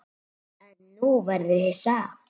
En nú verður þú hissa!